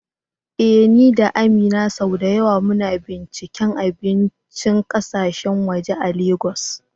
Eh, ni da Amina sau da yawa muna binciken abincin kasashen waje a Legas.